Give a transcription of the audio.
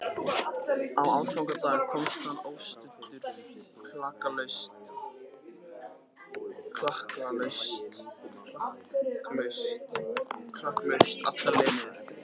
Á aðfangadag komst hann óstuddur klakklaust alla leið niður í